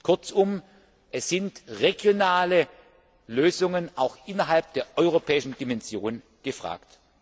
Kurzum, es sind regionale Lösungen auch innerhalb der europäischen Dimension gefragt.